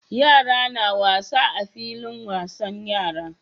Yara na wasa a filin wasan yara